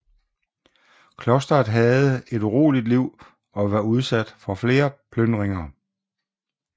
Klosteret havde et uroligt liv og var udsat for flere plyndringer